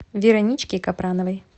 вероничке капрановой